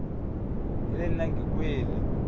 e le nna ke kwele